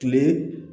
Kile